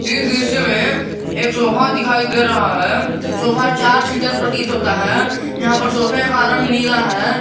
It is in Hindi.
इस दृश्य में एक सोफा दिखाई दे रहा है सोफा चार सीटर प्रतीत होता है यहां पर सोफे का रंग नीला है।